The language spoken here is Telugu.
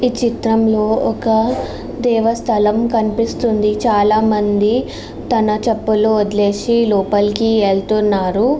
ఈ చిత్రంలో ఒక దేవస్థానము కనిపిస్తుంది. చాలామంది తన చెప్పులను వదిలేసి లోపలికి వెళుతున్నారు.